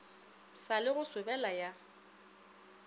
sa le go sobela ya